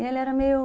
E ele era meio...